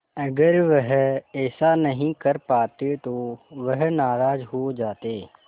अगर वह ऐसा नहीं कर पाते तो वह नाराज़ हो जाते